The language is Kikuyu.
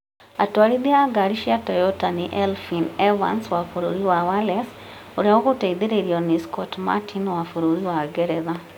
Atwarithia a ngari cia Toyota nĩ Elfyin Evans wa bũrũri wa Wales, ũrĩa ũgũteithĩrĩrio nĩ Scott Martin wa bũrũri wa Ngeretha,